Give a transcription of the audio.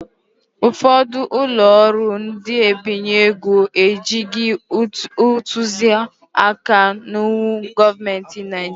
Ụfọdụ ụlọ ọrụ ndị n'ebinye ego ejighị ntuzi aka n'iwu gọọmenti Naijiria